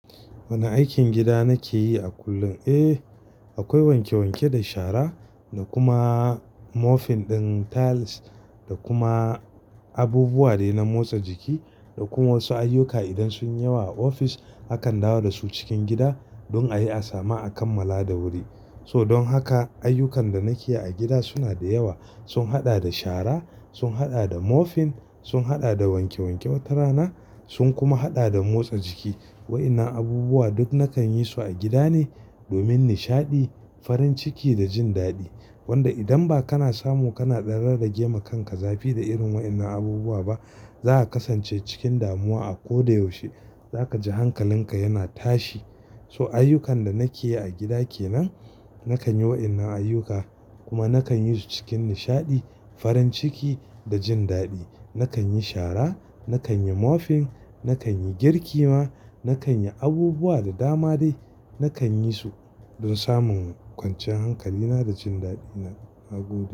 Wane aikin gida nake yi a kullum? Eh, akwai wanke wanke da shara da kuma mopping ɗin tiles da kuma abubuwa dai na motsa jiki da kuma wasu ayyuka idan sunyi yawa a ofis akan dawo da su cikin gida don a yi asama a kammala da wuri. So don haka ayyukan da nake yi a gida suna da yawa. Sun haɗa da shara, sun haɗa da mopping, sun haɗa da wanke wanke watara na, sun kuma haɗa da motsa jiki. Waɗannan abubuwa duk nakan yi su a gida ne domin nishaɗi, farin ciki da jin daɗi. Wanda idan ba kana samu kana ɗan rarragema kanka zafi da irin waɗannan abubuwa ba, za ka kasance cikin damuwa a koda yaushe. Za kaji hankalin ka yana tashi. So ayyukan da nake yi a gida ke nan. Nakan yi waɗannan ayyuka kuma nakan yi su cikin nishaɗi, farin ciki da jin daɗi. Nakan yi shara, nakan yi mopping, nakan yi girki ma, nakan yi abubuwa da dama dai. Nakan yi su don samun kwanciyar hankalina da jin daɗi na, na gobe.